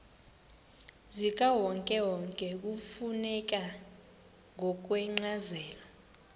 zikawonkewonke kufuneka ngokwencazelo